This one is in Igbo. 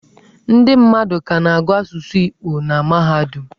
Ndị mmadụ ka na-agụ asụsụ Igbo na mahadum.